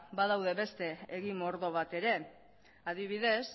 badaude beste egi mordo bat ere adibidez